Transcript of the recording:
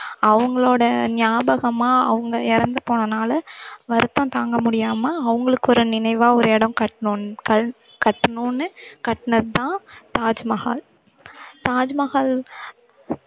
அவங்களோட நியாபகமா அவங்க இறந்து போனனால வருத்தம் தாங்க முடியாம அவங்களுக்கு ஒரு நினைவா ஒரு இடம் கட்டணும்னு கல்~ கட்டணும்னு கட்டனதுதான் தாஜ்மஹால் தாஜ்மஹால்